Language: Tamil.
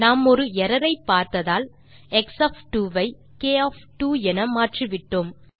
நாம் ஒரு எர்ரர் ஐ பார்த்ததால் நாம் எக்ஸ் ஒஃப் 2 ஐ க் ஒஃப் 2 என மாற்றிவிட்டோம்